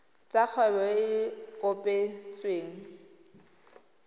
tsa kgwebo e e kopetsweng